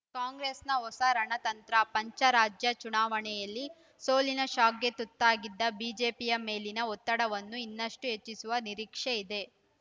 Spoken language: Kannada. ಕಾಂಗ್ರೆಸ್‌ನ ಹೊಸ ರಣತಂತ್ರ ಪಂಚರಾಜ್ಯ ಚುನಾವಣೆಯಲ್ಲಿ ಸೋಲಿನ ಶಾಕ್‌ಗೆ ತುತ್ತಾಗಿದ್ದ ಬಿಜೆಪಿಯ ಮೇಲಿನ ಒತ್ತಡವನ್ನು ಇನ್ನಷ್ಟುಹೆಚ್ಚಿಸುವ ನಿರೀಕ್ಷೆ ಇದೆ